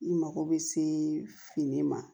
I mako bɛ se fini ma